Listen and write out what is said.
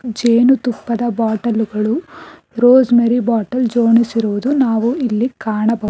ಜೇನುತುಪ್ಪದ ಬಾಟಲ್ ಗಳು rosemary bottle ಜೋಣಿಸಿರುವುದು ನಾವು ಇಲ್ಲಿ ಕಾಣಬಹು --